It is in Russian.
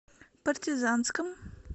партизанском